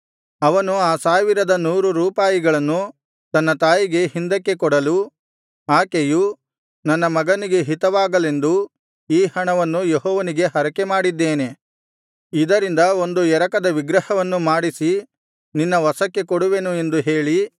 ಅವನು ಆ ಸಾವಿರದ ನೂರು ರೂಪಾಯಿಗಳನ್ನು ತನ್ನ ತಾಯಿಗೆ ಹಿಂದಕ್ಕೆ ಕೊಡಲು ಆಕೆಯು ನನ್ನ ಮಗನಿಗೆ ಹಿತವಾಗಲೆಂದು ಈ ಹಣವನ್ನು ಯೆಹೋವನಿಗೆ ಹರಕೆಮಾಡಿದ್ದೇನೆ ಇದರಿಂದ ಒಂದು ಎರಕದ ವಿಗ್ರಹವನ್ನು ಮಾಡಿಸಿ ನಿನ್ನ ವಶಕ್ಕೆ ಕೊಡುವೆನು ಎಂದು ಹೇಳಿ